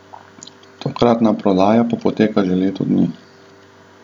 Tokratna prodaja pa poteka že leto dni.